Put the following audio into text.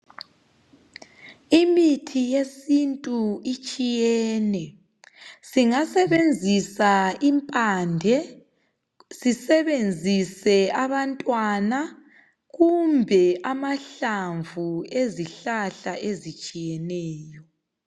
Imithi yesintu itshiyene. Singabesenzisa imphande, sisebenzise abantwana kumbe amahlamvu ezihlahla ezitshiyeneyo .